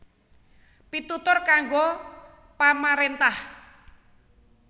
Pitutur kanggo pamaréntah